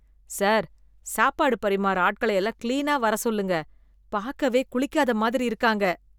Sir, சாப்பாடு பரிமார்ற ஆட்கள எல்லாம் கிளீனா வர சொல்லுங்க, பாக்கவே குளிக்காத மாதிரி இருக்காங்க.